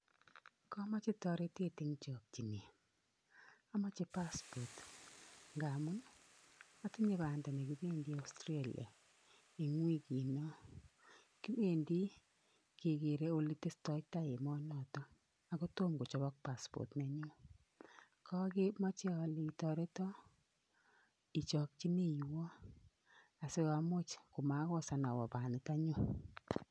Kamoche toretet eng jokchinet, amoche passport ngamun atinye Banda nekibendi Australia eng wikinon, kibendi kekere ole Testo tai emonoton Ako tom kojobok passport nenyun, kamoje ale itoreton ijokchineiwon asiamuch komakosan awe baniton nyon.